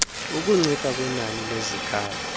ukuncipha kwenani lezikhalo